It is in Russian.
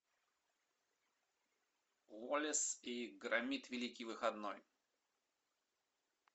уоллес и громит великий выходной